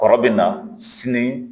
Kɔrɔ bɛ na sini